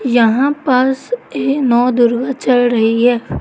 यहां पास ये नवदुर्गा चल रही है।